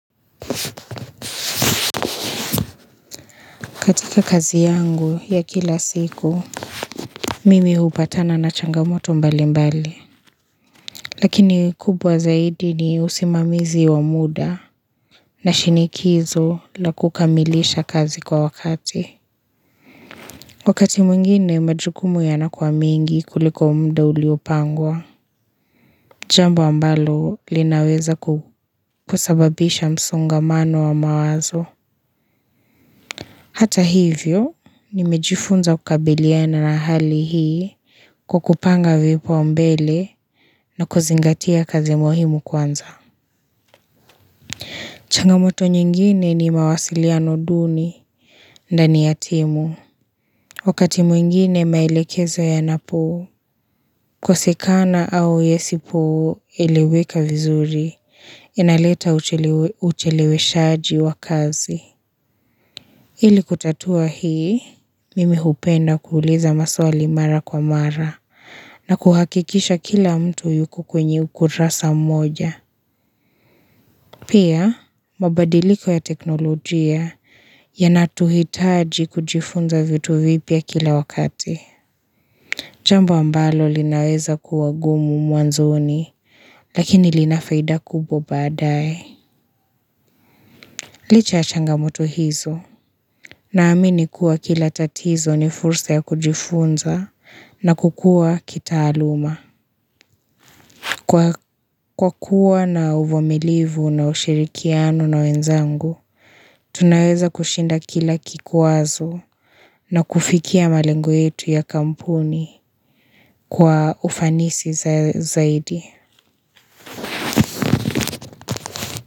Katika kazi yangu ya kila siku, mimi hupatana na changamoto mbali mbali. Lakini kubwa zaidi ni usimamizi wa muda na shinikizo la kukamilisha kazi kwa wakati. Wakati mwingine, majukumu ya nakuwa mengi kuliko muda uliopangwa. Jambo ambalo linaweza kusababisha msongamano wa mawazo. Hata hivyo, nimejifunza kukabiliana na hali hii kwakupanga vipaumbele na kuzingatia kazi ya muhimu kwanza. Changamoto nyingine ni mawasiliano duni ndani ya timu. Wakati mwingine maelekezo yanapo, kosekana au yasipo eleweka vizuri, yanaleta ucheleweshaji wa kazi. Ili kutatua hii, mimi hupenda kuuliza maswali mara kwa mara na kuhakikisha kila mtu yukokwenye ukurasa moja. Pia, mabadiliko ya teknolojia yanatuhitaji kujifunza vitu vipya kila wakati. Jambo ambalo linaweza kuwagumu mwanzoni, lakini linafaida kubwa baadae. Licha ya changamoto hizo. Naamini kuwa kila tatizo ni fursa ya kujifunza na kukua kitaaluma. Kwa kuwa na uvumilivu na ushirikiano na wenzangu, tunaweza kushinda kila kikwazo na kufikia malengo yetu ya kampuni kwa ufanisi zaidi.